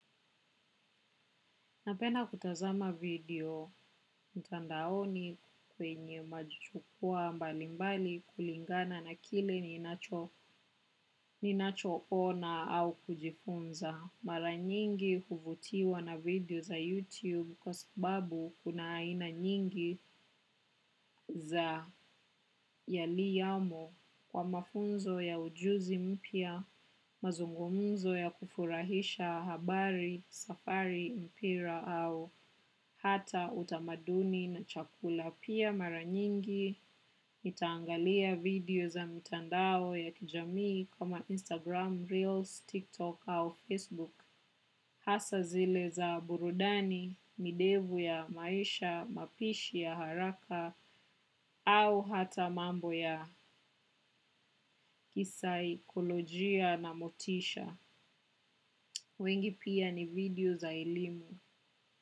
Napenda kutazama video, mtandaoni kwenye majukwa mbali mbali kulingana na kile ninacho ninachoona au kujifunza. Mara nyingi huvutiwa na video za YouTube kwa sababu kuna aina nyingi za yaliyomo kwa mafunzo ya ujuzi mpya, mazungumzo ya kufurahisha habari, safari, mpira au hata utamaduni na chakula. Pia mara nyingi, nitaangalia video za mitandao ya kijamii kama Instagram, Reels, TikTok au Facebook. Hasa zile za burudani, midevu ya maisha, mapishi ya haraka au hata mambo ya kisaikolojia na motisha. Wengi pia ni video za ilimu.